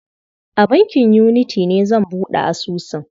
A bankin Unity ne zan buɗe asusun.